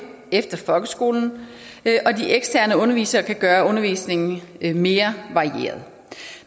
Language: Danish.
efter folkeskolen og undervisere kan gøre undervisningen mere varieret